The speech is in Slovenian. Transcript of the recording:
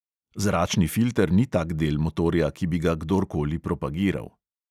Zračni filter ni tak del motorja, ki bi ga kdorkoli propagiral.